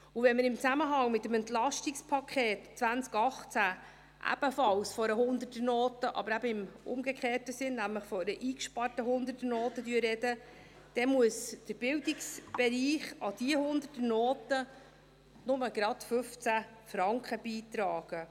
Und wenn wir im Zusammenhang mit dem EP 2018 ebenfalls von einer 100er-Note, aber eben im umgekehrten Sinn – nämlich von einer eingesparten 100er-Note – sprechen, dann muss der Bildungsbereich an diese 100er-Note nur gerade 15 Franken beitragen.